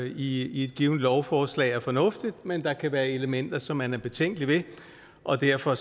i et givent lovforslag er fornuftigt men at der kan være elementer som man er betænkelig ved og derfor